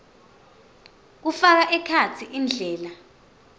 kufaka ekhatsi indlela